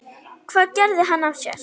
Hvað gerði hann af sér?